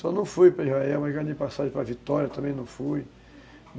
Só não fui para Israel, mas ganhei passagem para Vitória, também não fui.